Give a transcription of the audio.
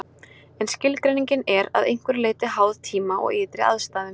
En skilgreiningin er að einhverju leyti háð tíma og ytri aðstæðum.